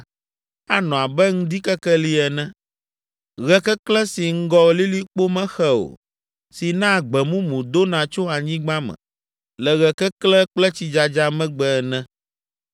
anɔ abe ŋdikekeli ene, ɣe keklẽ si ŋgɔ lilikpo mexe o si naa gbe mumu dona tso anyigba me le ɣe keklẽ kple tsidzadza megbe ene.’